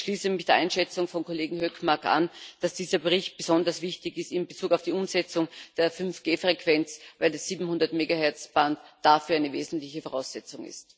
Ich schließe mich der Einschätzung des Kollegen Hökmark an, dass dieser Bericht besonders wichtig in Bezug auf die Umsetzung der 5G Frequenz ist, weil das 700 Megahertz Band dafür eine wesentliche Voraussetzung ist.